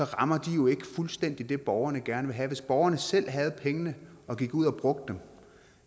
rammer de jo ikke fuldstændigt det borgerne gerne vil have hvis borgerne selv havde pengene og gik ud og brugte